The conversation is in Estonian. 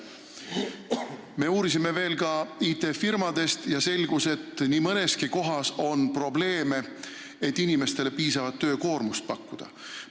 Me uurisime veel ka IT-firmadest ja selgus, et nii mõneski kohas on probleeme sellega, et inimestele piisavat töökoormust pakkuda.